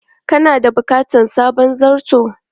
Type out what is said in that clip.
Kana da bukatar sabon zarto?